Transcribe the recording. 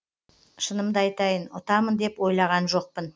шынымды айтайын ұтамын деп ойлаған жоқпын